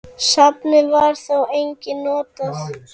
Safnið var þó einnig notað.